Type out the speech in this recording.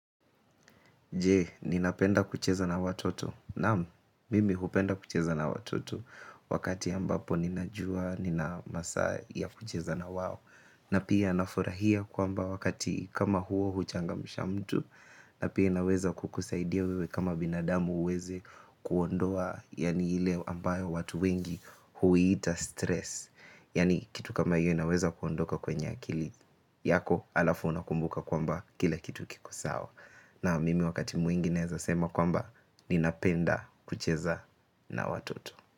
Je ninapenda kucheza na watoto? Naam, mimi hupenda kucheza na watoto wakati ambapo ninajua nina masaa ya kucheza na wao. Na pia nafurahia kwamba wakati kama huo huchangamsha mtu. Na pia inaweza kukusaidia wewe kama binadamu uweze kuondoa yani ile ambayo watu wengi huiita stress. Yani kitu kama hiyo inaweza kuondoka kwenye akili yako halafu unakumbuka kwamba kila kitu kiko sawa. Naam mimi wakati mwingi ninaweza sema kwamba ni napenda kucheza na watoto.